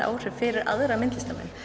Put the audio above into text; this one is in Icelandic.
áhrif fyrir aðra myndlistarmenn